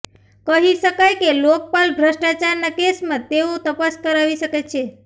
કહી શકાય કે લોકપાલ ભ્રષ્ટાચારના કેસમાં તેઓ તપાસ કરાવી શકે છે